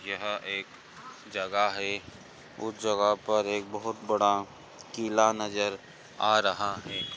यह एक जगह है उस जगह पर एक बहुत बड़ा किला नज़र आ रहा है।